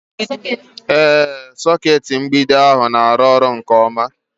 Ee, sọkeetị mgbidi ndị ahụ na-arụ ọrụ nke ọma